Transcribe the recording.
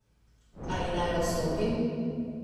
Ali naj odstopim?